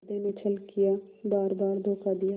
हृदय ने छल किया बारबार धोखा दिया